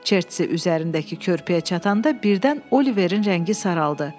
Çerçesi üzərindəki körpüyə çatanda birdən Oliverin rəngi saraldı.